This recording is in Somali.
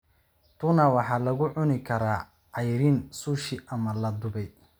Tuna waxa lagu cuni karaa cayriin sushi ama la dubay.